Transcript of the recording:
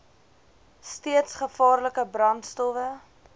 steeds gevaarlike brandstowwe